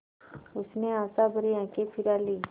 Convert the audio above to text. उसने आशाभरी आँखें फिरा लीं